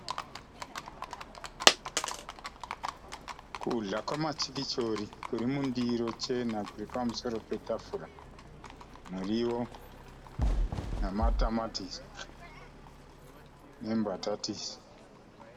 Kudya kwematsikitsori kuri mundiro chena kuripamusoro petafura, muriwo, namatomatisi nembatatisi.